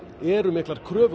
eru miklar kröfur á